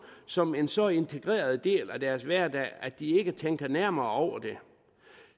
som en så integreret del af deres hverdag at de ikke tænker nærmere over det